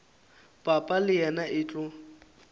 papa le yena e tlo